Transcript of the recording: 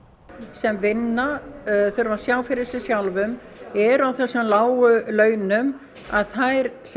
sem vinna þurfa að sjá fyrir sér sjálfum eru á þessum lágu launum þær